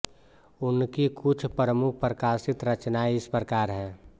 उनकी कुछ प्रमुख प्रकाशित रचनाएँ इस प्रकार हैं